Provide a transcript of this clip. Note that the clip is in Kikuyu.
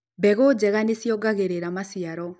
mbegũ njega nĩ ciogagĩrĩra maciaro